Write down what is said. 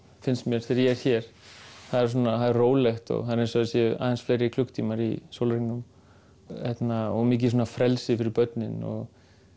finnst mér þegar ég er hér það er rólegt og eins og það séu aðeins fleiri klukkutímar í sólarhringnum mikið frelsi fyrir börnin og